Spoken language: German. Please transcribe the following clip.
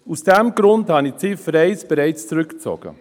Aus diesem Grund habe ich sie bereits zurückgezogen.